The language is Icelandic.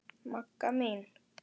Magga mín.